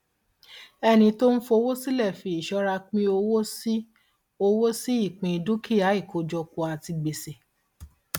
ẹni tó ń fowó sílẹ fi ìṣọra pín owó sí owó ìpín dúkìá ìkójọpọ àti gbèsè